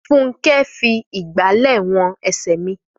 Fúnkẹ́ fi ìgbàlẹ̀ wọn ẹsẹ̀ mi.